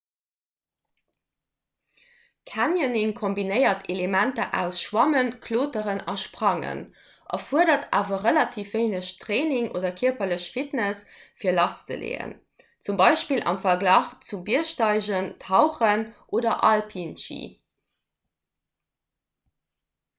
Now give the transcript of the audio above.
canyoning kombinéiert elementer aus schwammen kloteren a sprangen – erfuerdert awer relativ wéineg training oder kierperlech fitness fir lasszeleeën zum beispill am verglach zu biergsteigen tauchen oder alpinschi